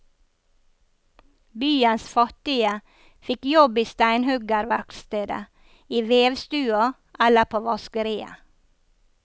Byens fattige fikk jobb i steinhuggerverkstedet, i vevstua eller på vaskeriet.